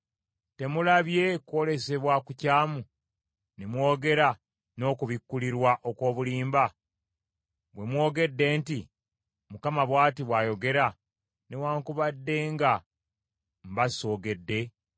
Temulabye kwolesebwa kukyamu ne mwogera n’okubikkulirwa okw’obulimba, bwe mwogedde nti, “ Mukama bw’ati bw’ayogera,” newaakubadde nga mba soogedde?